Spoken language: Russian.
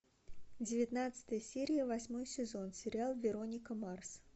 девятнадцатая серия восьмой сезон сериал вероника марс